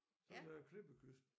Så er der klippekyst